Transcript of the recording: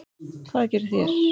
Hvað gerið þér?